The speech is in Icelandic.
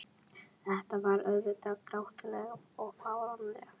En þetta var auðvitað grátlegt og fáránlegt.